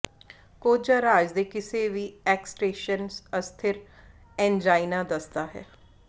ਕੋਝਾ ਰਾਜ ਦੇ ਕਿਸੇ ਵੀ ਐਕਸ਼ਟੇਸ਼ਨ ਅਸਥਿਰ ਐਨਜਾਈਨਾ ਦੱਸਦਾ ਹੈ